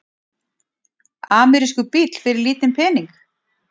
Amerískur bíll fyrir lítinn pening?